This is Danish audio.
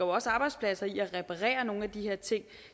også arbejdspladser i at reparere nogle af de her ting